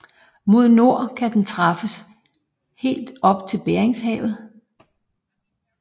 Mod nord kan den træffes helt op i Beringshavet